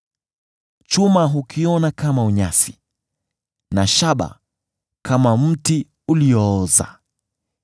Chuma hukiona kama unyasi, na shaba kama mti uliooza.